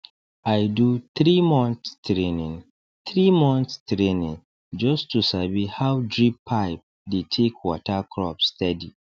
i do threemonth training threemonth training just to sabi how drip pipe dey take water crop steady